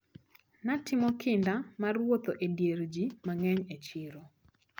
Natimo kinda mar wuotho e dier ji mang`eny e chiro.